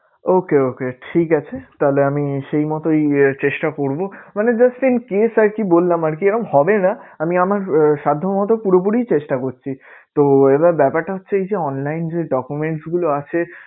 Okay okay ঠিক আছে। তাহলে আমি সেই মতোই আহ চেষ্টা করবো। মানে just in case আরকি বললাম আরকি এরম হবে না। আমি আমার আহ সাধ্য মতো পুরোপুরি চেষ্টা করছি। তো এবার ব্যাপারটা হচ্ছে যে online যে documents গুলো আছে